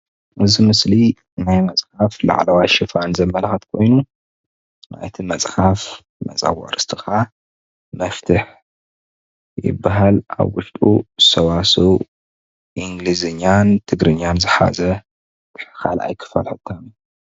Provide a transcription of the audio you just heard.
እዚ ምስሊ ናይ መፅሓፍ ላዕለዋይ ሽፋን ዘመላኽት ኮይኑ ናይቲ መፅሓፍ መፀውዒ ርስቲ ኻዓ መፍትሕ ይባሃል። ኣብ ውሽጡ ሰዋሰው ኢንግሊዝኛን ትግርኛን ዝሓዘ ካልኣይ ክፋል ሕታም እዩ።